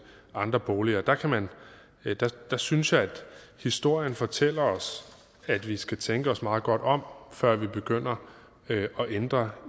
andre boliger der synes jeg historien fortæller os at vi skal tænke os meget godt om før vi begynder at ændre